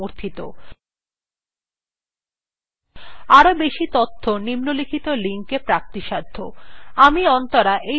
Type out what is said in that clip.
আরও বেশি তথ্য নিম্নলিখিত linkএ প্রাপ্তিসাধ্য